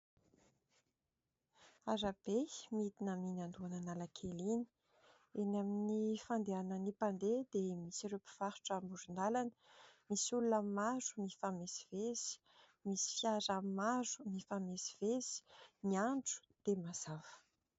Arabe midina amin'iny andohan'analakely iny. Eny amin'ny fandehanan'ny mpandeha dia misy ireo mpivarotra amoron-dalana. Misy olona maro mifamezivezy, misy fiara maro mifamezivezy. Ny andro dia mazava.